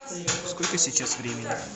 сколько сейчас времени